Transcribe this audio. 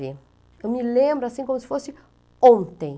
Eu me lembro assim como se fosse ontem.